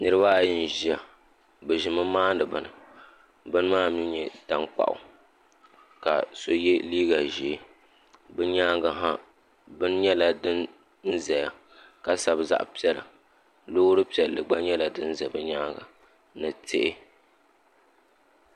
niriba ayi n-ʒiya bɛ ʒimi maani bini bini maa mi n-nyɛ tankpaɣu ka so ye liiga ʒee bɛ nyaaga ha bini nyɛla din ʒiya ka sabi zaɣ' piɛla loori piɛlli gba nyɛla din za bɛ nyaaga ni tihi.